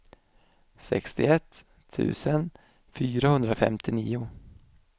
sextioett tusen fyrahundrafemtionio